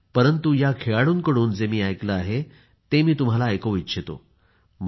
परंतु ह्या खेळाडूंकडून जे मी ऐकले आहे ते मी तुम्हाला ऐकवू इच्छितो